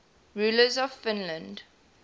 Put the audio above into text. rulers of finland